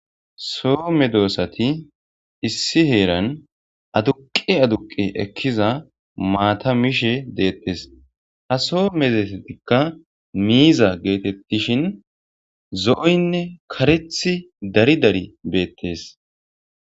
Soo medoosati issi heeran aduqe aduqe ekkiza maata mishe deettes, ha soo medosatikka miiza geetettishin zo'oynne karethi dari dari beettes.